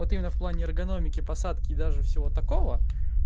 вот имено в плане эргономики посадки и даже всего такого